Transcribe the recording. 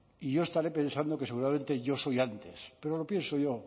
y yo estaré pensado que seguramente yo soy antes pero lo pienso yo